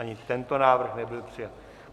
Ani tento návrh nebyl přijat.